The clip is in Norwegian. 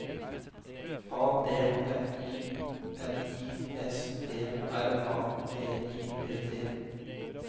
A D M I N I S T R A T I V T